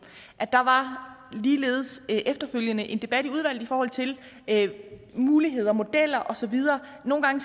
ligeledes efterfølgende var en debat i udvalget i forhold til muligheder og modeller og så videre nogle gange